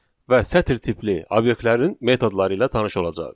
və sətir tipli obyektlərin metodları ilə tanış olacağıq.